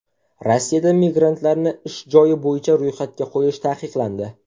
Rossiyada migrantlarni ish joyi bo‘yicha ro‘yxatga qo‘yish taqiqlandi.